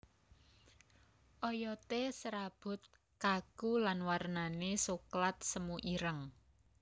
Oyodé serabut kaku lan warnané soklat semu ireng